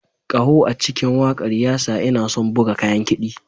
Ƙaho a cikin wakar ya sa ina son buga kayan kiɗi.